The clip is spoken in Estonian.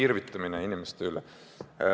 See on irvitamine inimeste üle.